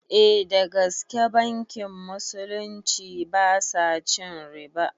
Eh dagaske bankin musulunci basa cin riba